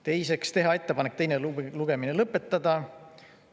Teiseks, teha ettepanek teine lugemine lõpetada.